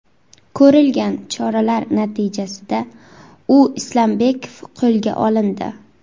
Ko‘rilgan choralar natijasida U. Islombekov qo‘lga olindi.